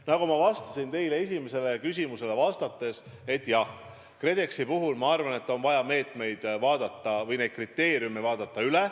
Nagu ma ütlesin teie esimesele küsimusele vastates: jah, KredExi puhul ma arvan, et on vaja need kriteeriumid üle vaadata.